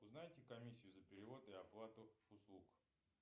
узнайте комиссию за перевод и оплату услуг